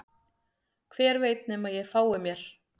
Hver veit nema að ég fái mér